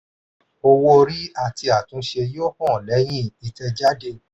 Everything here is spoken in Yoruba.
owó-orí àti àtúnṣe yóò hàn lẹ́yìn ìtẹ̀jáde.